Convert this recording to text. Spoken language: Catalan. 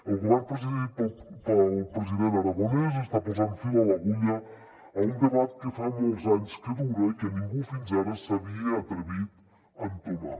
el govern presidit pel president aragonès està posant fil a l’agulla a un debat que fa molts anys que dura i que ningú fins ara s’havia atrevit a entomar